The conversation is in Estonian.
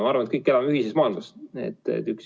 Ma arvan, et me kõik elame ühises maailmas.